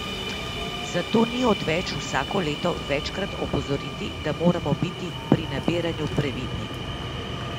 Zato ni odveč vsako leto večkrat opozoriti, da moramo biti pri nabiranju previdni!